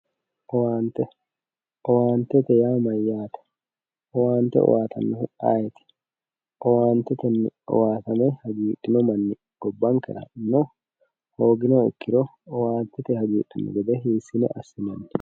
owante owantete yaa mayyate owaante owaatannohu ayeti owaantetenni owaatame hagiidhino manchi ayeti gobankera owaante owaatame hagiidhino manni